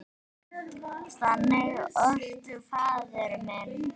Þannig orti faðir minn.